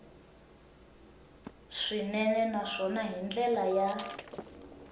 swinene naswona hi ndlela ya